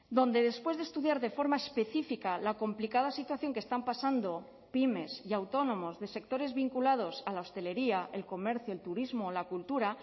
donde después de estudiar de forma específica la complicada situación que están pasando pymes y autónomos de sectores vinculados a la hostelería el comercio el turismo la cultura